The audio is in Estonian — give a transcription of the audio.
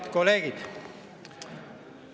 Head kolleegid!